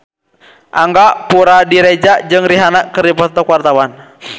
Angga Puradiredja jeung Rihanna keur dipoto ku wartawan